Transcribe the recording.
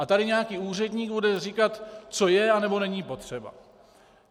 A tady nějaký úředník bude říkat, co je a nebo není potřeba.